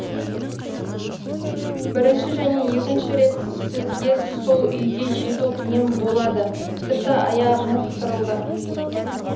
бірінші және екінші рет сізге сол үйге жету қиын болады тіпті аяғыңыз сырылды